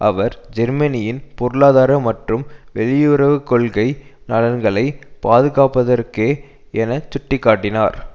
அவர் ஜெர்மனியின் பொருளாதார மற்றும் வெளியுறவு கொள்கை நலன்களை பாதுகாப்பதற்கே என சுட்டி காட்டினார்